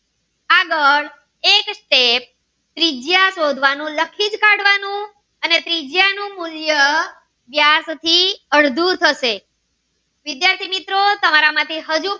આગળ એ જ step ત્રિજ્યા શોધવાનું લખી જ કાઢવાનું અને ત્રિજ્યા નું મૂલ્ય વ્યાસ થી અડધું થશે વિદ્યાર્થી મિત્રો તમારા માંથી હજુ